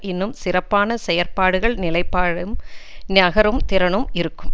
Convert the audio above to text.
இன்னும் சிறப்பான செயற்பாடுகள் நிலைப்பாடும் நகரும் திறனும் இருக்கும்